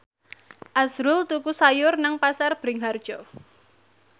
azrul tuku sayur nang Pasar Bringharjo